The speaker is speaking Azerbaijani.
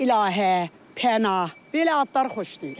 İlahə, Pənah, belə adlar xoşlayıram.